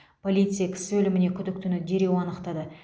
полиция кісі өліміне күдіктіні дереу анықтады